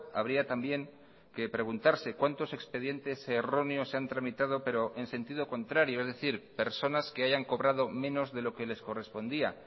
habría también que preguntarse cuántos expedientes erróneos se han tramitado pero en sentido contrario es decir personas que hayan cobrado menos de lo que les correspondía